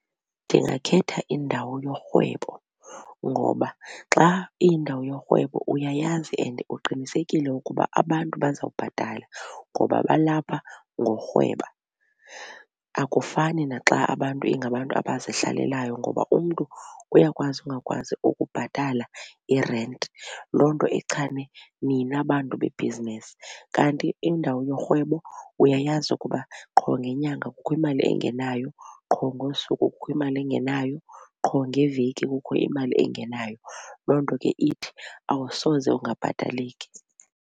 Ndingakhetha indawo yorhwebo ngoba xa iyindawo yorhwebo uyayazi and uqinisekile ukuba abantu baza kubhatala ngoba balapha ngorhweba. Akufani naxa abantu ingabantu abazihlalelayo ngoba umntu uyakwazi ungakwazi ukubhatala irenti, loo nto ichane nina bantu bebhizinisi. Kanti indawo yorhwebo uyayazi ukuba qho ngenyanga kukho imali engenayo, qho ngosuku kukho imali engenayo, qho ngeveki kukho imali engenayo, loo nto ke ithi awusoze ungabhataleki.